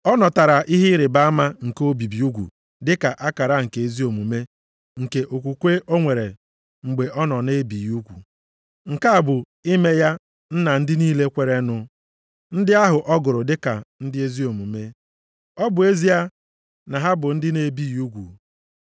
Ọ natara ihe ịrịbama nke obibi ugwu dịka akara nke ezi omume nke okwukwe o nwere mgbe ọ nọ na-ebighị ugwu. Nke a bụ ime ya nna ndị niile kweerenụ, ndị ahụ ọ gụrụ dịka ndị ezi omume, ọ bụ ezie na ha bụ ndị a na-ebighị ugwu.